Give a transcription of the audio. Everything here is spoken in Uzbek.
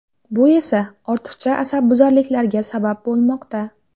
Bu esa, ortiqcha asabbuzarliklarga sabab bo‘lmoqda.